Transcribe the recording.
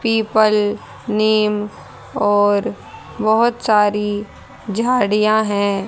People नीम और बहोत सारी झाड़ियां है।